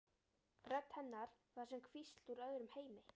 Rödd hennar var sem hvísl úr öðrum heimi.